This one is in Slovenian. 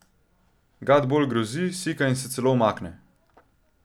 Gad bolj grozi, sika in se celo umakne.